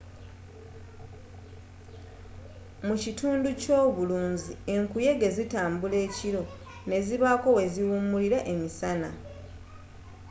mu kitundu ekyobulunzi enkuyege zitambula ekiro nezibaako weziwumulira emisana